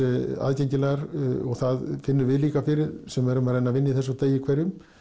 aðgengilegar og það finnum við líka fyrir sem erum að reyna að vinna í þessu á degi hverjum